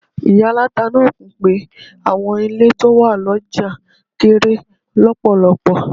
Ìyá aláta náà kùn pé àwọn ilé tó wà lọ́jà kéré lọ́pọ̀lọpọ̀.